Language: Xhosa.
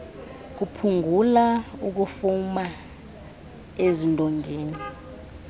kuphungula ukufuma ezindongeni